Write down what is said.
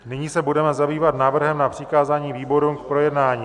Nyní se budeme zabývat návrhem na přikázání výborům k projednání.